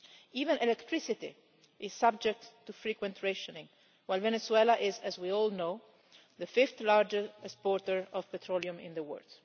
Even electricity is subject to frequent rationing while Venezuela is, as we all know, the fifth largest exporter of petroleum in the world.